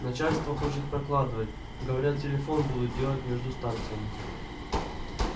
начальство хочет прокладывать говорят телефон будут делать между станциями